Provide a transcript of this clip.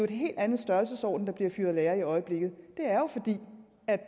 en helt anden størrelsesorden der bliver fyret lærere i i øjeblikket det